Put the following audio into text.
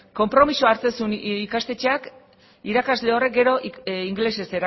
konpromisoa hartzen zuen ikastetxeak irakasle horrek gero ingelesez